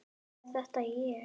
Er þetta ég?